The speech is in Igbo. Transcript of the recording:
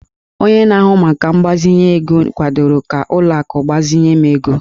Onye na-ahụ maka mgbazinye ego kwadoro ka ụlọ akụ gbazinye m ego